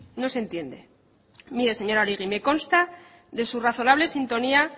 no se entiende mire señora oregi me consta de su razonable sintonía